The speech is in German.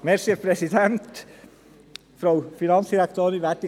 Es ist ja praktisch, wenn ich jetzt noch etwas sage: